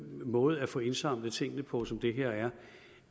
måde at få indsamlet tingene på som det her